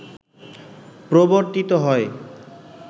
প্রবর্তিত হয়